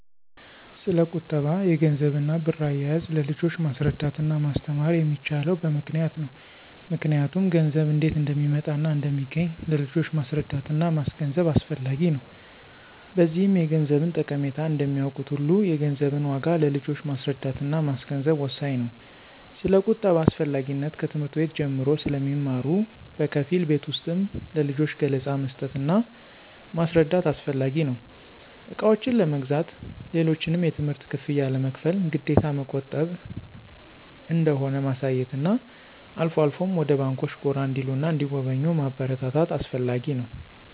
ስለቁጠባ፣ የገንዘብና ብር አያያዝ ለልጆች ማስረዳትና ማስተማር የሚቻለው በምክንያት ነው ምክንያቱም ገንዘብ እንዴት እንደሚመጣና እንደሚገኝ ለልጆች ማስረዳትና ማስገንዘብ አስፈላጊ ነው። በዚህም የገንዘብን ጠቀሜታ እንደሚያውቁት ሁሉ የገንዘብን ዋጋ ለልጆች ማስረዳትና ማስገንዘብ ወሳኝ ነው። ስለቁጠባ አስፈላጊነት ከትምህርት ቤት ጀምሮ ስለሚማሩ በከፊል ቤት ውስጥም ለልጆች ገለፃ መስጠትና ማስረዳት አስፈላጊ ነው። እቃዎችን ለመግዛት፣ ሌሎችንም የትምህርት ክፍያ ለመክፈል ግዴታ መቆጠብ እንደሆነ ማሳየትና አልፎ አልፎም ወደ ባንኮች ጎራ እንዲሉና እንዲጎበኙ ማበረታታት አስፈላጊ ነው።